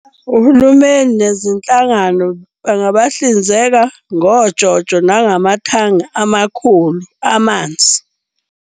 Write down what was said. Uhulumeni nezinhlangano bangabahlinzeka ngoJoJo, nangamakhanga amakhulu amanzi.